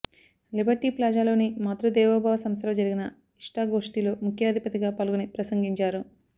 Liberty ప్లాజాలోని మాతృదేవోభవ సంస్థలో జరిగిన ఇష్టాగోష్టిలో ముఖ్యఅతిథిగా పాల్గొని ప్రసంగించారు